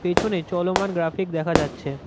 পেছনে চলমান গ্রাফিক দেখা যাচ্ছে।